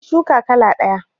Nayi shuka kala ɗaya